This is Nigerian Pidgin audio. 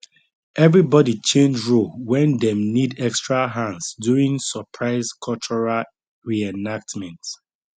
everybody change role when dem need extra hands during surprise cultural reenactment